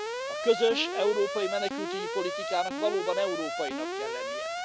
A közös európai menekültügyi politikának valóban európainak kell lennie.